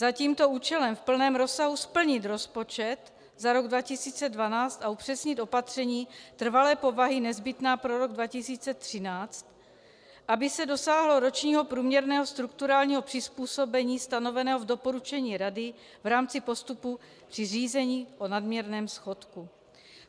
Za tímto účelem v plném rozsahu splnit rozpočet za rok 2012 a upřesnit opatření trvalé povahy nezbytná pro rok 2013, aby se dosáhlo ročního průměrného strukturálního přizpůsobení stanoveného v doporučení Rady v rámci postupu při řízení o nadměrném schodku.